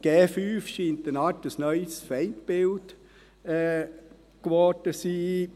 5G scheint eine Art neues Feindbild geworden zu sein.